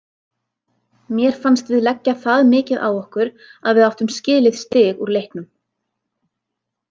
Mér fannst við leggja það mikið á okkur að við áttum skilið stig úr leiknum.